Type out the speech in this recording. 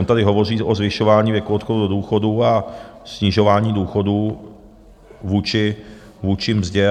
On tady hovoří o zvyšování věku odchodu do důchodu a snižování důchodů vůči mzdě.